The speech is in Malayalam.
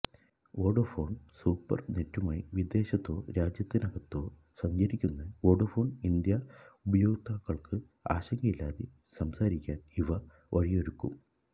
വോഡഫോണ് സൂപ്പര് നെറ്റുമായി വിദേശത്തോ രാജ്യത്തിനകത്തോ സഞ്ചരിക്കുന്ന വോഡഫോണ് ഇന്ത്യാ ഉപഭോക്താക്കള്ക്ക് ആശങ്കയില്ലാതെ സംസാരിക്കാന് ഇവ വഴിയൊരുക്കും